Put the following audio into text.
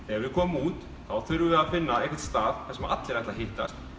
við komum út þurfum við að finna einhvern stað þar sem allir ætla að hittast